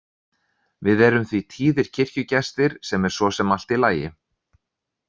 Við erum því tíðir kirkjugestir sem er svo sem allt í lagi.